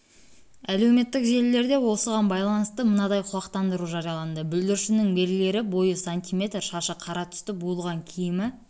әлеуметтік желілерде осыған байланысты мынадай құлақтандыру жарияланды бүлдіршіннің белгілері бойы см шашы қара түсті буылған киімі